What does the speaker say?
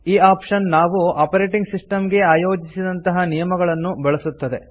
ಈ ಆಪ್ಷನ್ ನಾವು operating system ಗೆ ಆಯೋಜಿಸಿದಂತ ನಿಯಮಗಳನ್ನು ಬಳಸುತ್ತದೆ